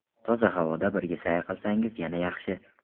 Toza havoda birga sayr qilsangiz yana yaxshi.